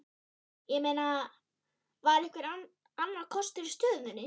Ég meina, var einhver annar kostur í stöðunni?